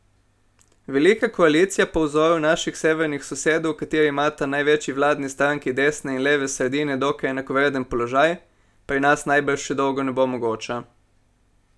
Velika koalicija po vzoru naših severnih sosedov, v kateri imata največji vladni stranki desne in leve sredine dokaj enakovreden položaj, pri nas najbrž še dolgo ne bo mogoča.